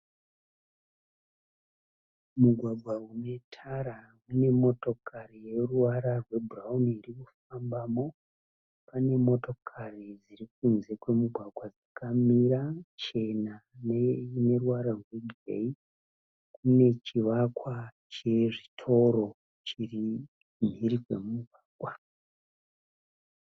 Mugwagwa une tara une motokari yeruvara rwebhurauni iri kufambamo. Pane motokari dziri kunze kwemugwagwa dzakamira chena neine ruvara rwebhureki. Kune chivakwa chezvitoro chiri mhiri kwemugwagwa.